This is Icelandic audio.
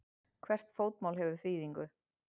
Hvert fótmál hefur þýðingu.